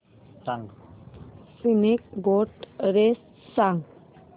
snake boat race सांग